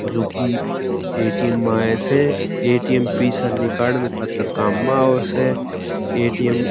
जो की ए_टी_एम में से ए_टी_एम पिसा निकालन खातर काम में आवे स ए_टी_एम --